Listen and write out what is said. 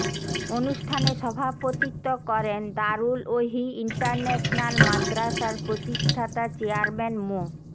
অনুষ্ঠানে সভাপতিত্ব করেন দারুল ওহী ইন্টারন্যাশনাল মাদারাসার প্রতিষ্ঠাতা চেয়ারম্যান মো